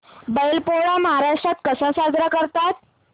बैल पोळा महाराष्ट्रात कसा साजरा करतात